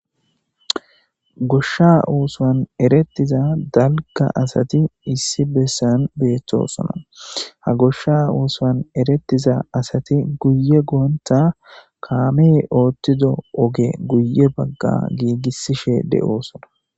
goshsha oosowan erettiza dalga asati issi bessan beettosona ha goshsha uoswan eretiza asati guye goonta kaamee oothtido oge guye bagga giigissishe de7oosona